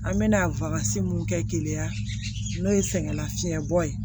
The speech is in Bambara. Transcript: An bɛna mun kɛ keleya n'o ye sɛgɛnlafiɲɛbɔ ye